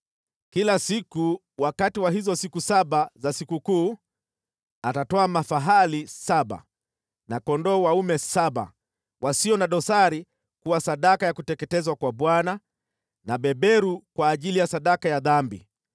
Kila siku wakati wa hizo siku saba za sikukuu atatoa mafahali saba na kondoo dume saba wasio na dosari kuwa sadaka ya kuteketezwa kwa Bwana na beberu kwa ajili ya sadaka ya dhambi.